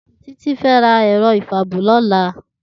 Titi fè rá èrò ifàábò lòlá